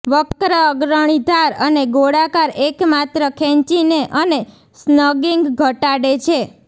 વક્ર અગ્રણી ધાર અને ગોળાકાર એકમાત્ર ખેંચીને અને સ્નગિંગ ઘટાડે છે